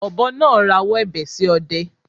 Ọ̀bọ náà rawọ́ ẹ̀bẹ̀ sí ọdẹ